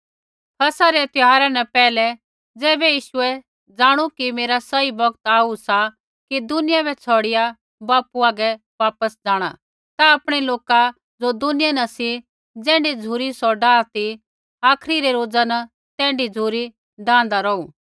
फसह रै त्यौहारा न पैहलै ज़ैबै यीशुऐ जाणु कि मेरा सही बौगत आऊ सा कि दुनियां बै छ़ौड़िया बापू हागै वापस जाँणा ता आपणै लोका ज़ो दुनियां न सी ज़ैण्ढी झ़ुरी सौ डाआ ती आखरी रै रोजा न तैण्ढी झ़ुरी डाआन्दा रौहु